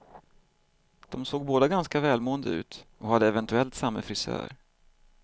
De såg båda ganska välmående ut och hade eventuellt samme frisör.